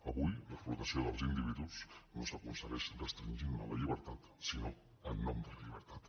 avui l’explotació dels individus no s’acon·segueix restringint·ne la llibertat sinó en nom de la llibertat